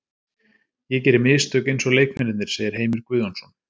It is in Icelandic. Ég geri mistök eins og leikmennirnir segir Heimir Guðjónsson.